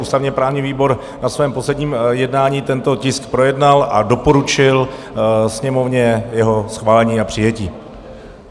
Ústavně-právní výbor na svém posledním jednání tento tisk projednal a doporučil Sněmovně jeho schválení a přijetí.